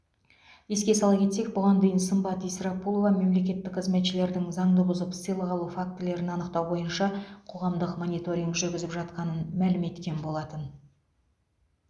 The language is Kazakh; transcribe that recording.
еске сала кетсек бұған дейін сымбат исрапулова мемлекеттік қызметшілердің заңды бұзып сыйлық алу фактілерін анықтау бойынша қоғамдық мониторинг жүргізіп жатқанын мәлім еткен болатын